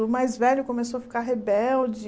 O mais velho começou a ficar rebelde.